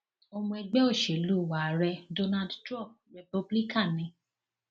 ọmọ ẹgbẹ òṣèlú ààrẹ donald trump republican ni